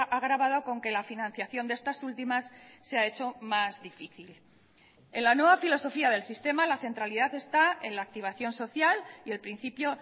agravado con que la financiación de estas últimas se ha hecho más difícil en la nueva filosofía del sistema la centralidad está en la activación social y el principio